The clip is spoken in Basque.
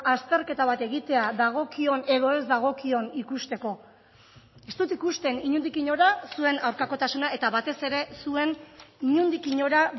azterketa bat egitea dagokion edo ez dagokion ikusteko ez dut ikusten inondik inora zuen aurkakotasuna eta batez ere zuen inondik inora